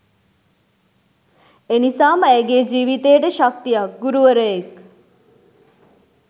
එනිසාම ඇයගේ ජීවිතයට ශක්තියක් ගුරුවරයෙක්